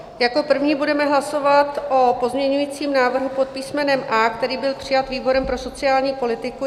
Jako první budeme hlasovat o pozměňujícím návrhu pod písmenem A, který byl přijat výborem pro sociální politiku.